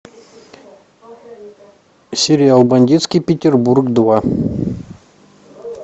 сериал бандитский петербург два